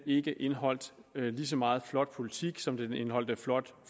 ikke indeholdt lige så meget flot politik som den indeholdt flotte